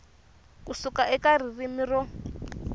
ku suka eka ririmi ro